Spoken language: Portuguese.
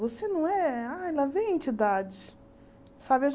Você não é... Ah, lá vem a entidade. Sabe